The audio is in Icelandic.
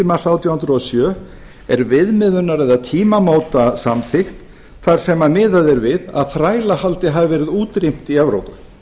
árið átján hundruð og sjö er viðmiðunar eða tímamótasamþykkt þar sem miðað er við að þrælahaldi hafi verið útrýmt í evrópu